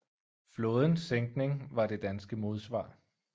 Flådens sænkning var det danske modsvar